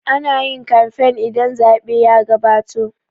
Ana yin kamfen idan zaɓe ya gabato